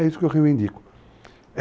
É isso que eu reivindico.